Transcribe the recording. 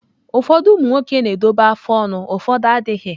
Ụfọdụ umụ nwoke na-edobe afụ ọnụ ụfọdụ adịghị.